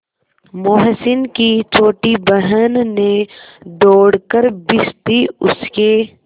मोहसिन की छोटी बहन ने दौड़कर भिश्ती उसके